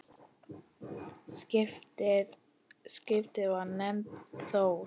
Skipið var nefnt Þór.